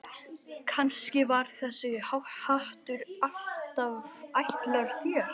Kannski var þessi hattur alltaf ætlaður þér.